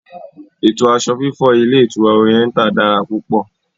Ètò aṣọ fífọ̀ ilé ìtura Oriental dára púpò